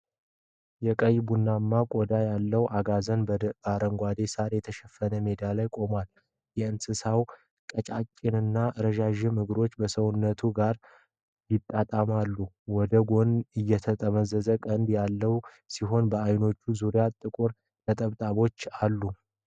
የቀይ ቡናማ ቆዳ ያለው አጋዘን በአረንጓዴ ሳር የተሸፈነ ሜዳ ላይ ቆሟል። የእንስሳው ቀጫጭንና ረዣዥም እግሮች ከሰውነቱ ጋር ይጣጣማሉ። ወደ ኋላ የተጠመዘዘ ቀንድ ያለው ሲሆን በዓይኖቹ ዙሪያ ጥቁር ነጠብጣቦች አሉት።